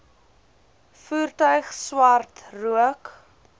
voertuig swart rook